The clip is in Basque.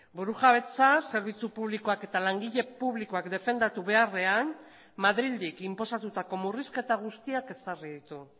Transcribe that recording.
burujabetza zerbitzu publikoak eta langile publikoak defendatu beharrean madrildik inposatutako murrizketa guztiak ezarri ditu